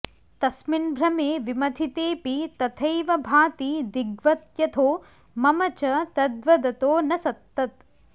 तस्मिन्भ्रमे विमथितेऽपि तथैव भाति दिग्वत्यथो मम च तद्वदतो न सत्तत्